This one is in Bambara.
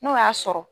N'o y'a sɔrɔ